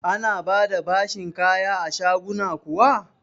Ana ba da bashin kaya a shaguna kuwa?